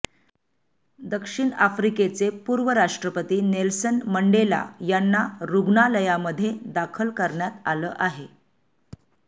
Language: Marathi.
दक्षिण आफ्रिकेचे पूर्व राष्ट्रपती नेल्सन मंडेला यांना रूग्णालयामध्ये दाखल करण्यात आलं आहे